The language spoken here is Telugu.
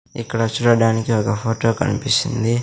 ఇక్కడ చూడటానికి ఒక ఫోటో కన్పిస్తుంది.